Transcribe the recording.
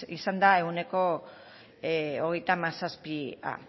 izan da ehuneko hogeita hamazazpia